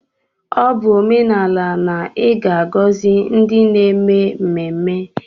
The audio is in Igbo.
Ọ bụ omenala na ị ga-agọzi ndi n'eme mmemme.